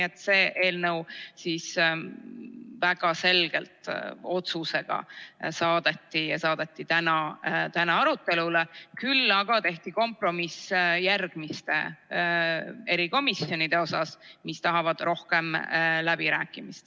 Seega saadeti see eelnõu väga selgelt otsusega täiskogusse arutelule, küll aga tehti kompromiss järgmiste erikomisjonide suhtes, mis vajavad rohkem läbirääkimist.